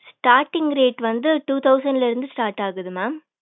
starting rate வந்து two thousand ல இருந்து start ஆகுது mam